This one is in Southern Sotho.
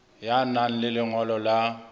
ya nang le lengolo la